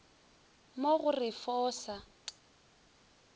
mo go ref o sa